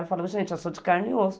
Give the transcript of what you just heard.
Eu falava, gente, eu sou de carne e osso.